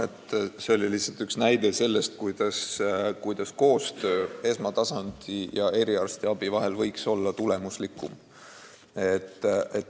See oli lihtsalt üks näide, kuidas koostöö esmatasandi ja eriarstiabi vahel võiks olla tulemuslikum.